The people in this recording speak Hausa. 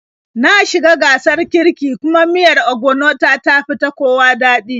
Na shi ga gasar kiirki, kuma miyar ogbono ta, tafi ta kowa daɗi